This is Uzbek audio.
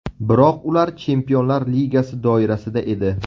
Biroq ular chempionlar ligasi doirasida edi.